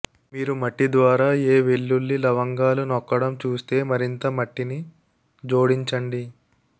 మీరు మట్టి ద్వారా ఏ వెల్లుల్లి లవంగాలు నొక్కడం చూస్తే మరింత మట్టిని జోడించండి